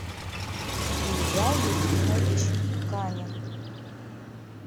илья ефимович канин